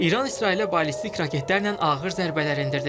İran İsrailə ballistik raketlərlə ağır zərbələr endirdi.